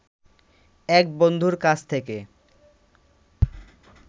এক বন্ধুর কাছ থেকে